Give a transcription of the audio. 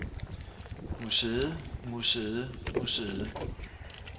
museet museet museet